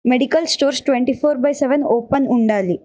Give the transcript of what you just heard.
Medical stores twenty four by seven open ఉండాలి.